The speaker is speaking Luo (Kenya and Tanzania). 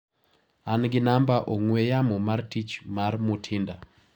An gi namba ong'ue yamo mar tich mar Mutinda.